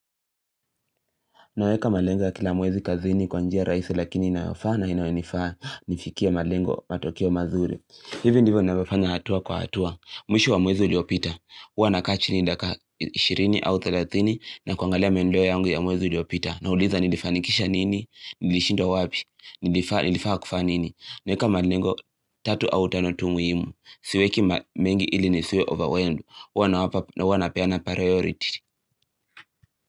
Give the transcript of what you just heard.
Naweka malengo ya kila mwezi kazini kwa njia rahisi lakini inayofaa na inayonifaa nifikie malengo matokeo mazuri. Hivi ndivyo ninavyofanya hatua kwa hatua. Mwisho wa mwezi uliopita. Huwa nakaa chini dakika 20 au 30 na kuangalia maendeleo yangu ya mwezi uliopita. Nauliza nilifanikisha nini, nilishindwa wapi, nilifaa kufanya nini. Naweka malengo tatu au tano tu muimu. Siweki mengi ili nisiwe overwhelmed. Huwa nawapa napeana priority.